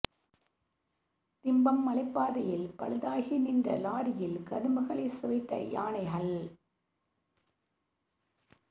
திம்பம் மலைப் பாதையில் பழுதாகி நின்ற லாரியில் கரும்புகளைச் சுவைத்த யானைகள்